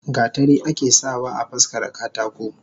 Gatari ake sa wa afaskara katako.